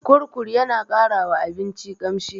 Kurkur yana ƙara wa abinci ƙamshi.